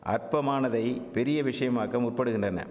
அற்பமானதை பெரிய விஷயமாக்க முப்படுகின்றன